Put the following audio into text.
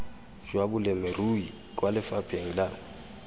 jwa balemirui kwa lefapheng la